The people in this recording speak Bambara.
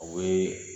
O bɛ